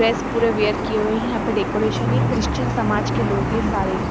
dress पूरे wear किए हुए हैं यहां पे डेकोरेशन है क्रिश्चियन समाज के लोग हैं सारे--